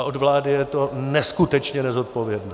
A od vlády je to neskutečně nezodpovědné.